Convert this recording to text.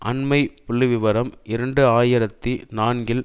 அண்மைய புள்ளி விவரம் இரண்டு ஆயிரத்தி நான்கில்